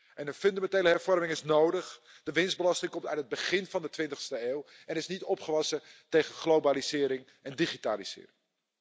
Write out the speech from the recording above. En de fundamentele hervorming is nodig de winstbelasting komt uit het begin van de twintigste eeuw en is niet opgewassen tegen globalisering en digitalisering.